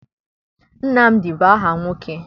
Nnamdị bụ aha nwoke.